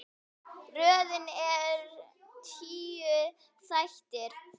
Röðin er tíu þættir.